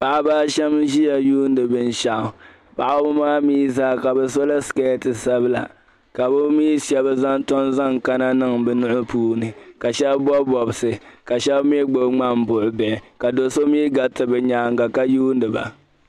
Paɣaba a shɛm n-ʒiya yuundi binshɛɣu. paɣaba maa mi zaa, ka bi so la skirt sabila ka bi shɛba tom zaŋ kana niŋ bi nui puuni. Ka shɛbi bobi bobsi , ka shɛbi mi gbibi ŋmanbuɣubihi. Ka do so gariti bi nyaanga ka yuundi ba.